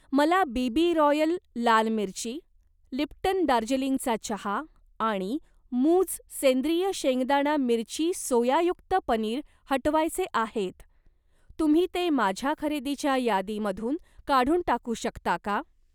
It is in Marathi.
मला बीबी रॉयल लाल मिरची, लिप्टन दार्जिलिंगचा चहा आणि मूझ सेंद्रिय शेंगदाणा मिरची सोयायुक्त पनीर हटवायचे आहेत, तुम्ही ते माझ्या खरेदीच्या यादीमधून काढून टाकू शकता का?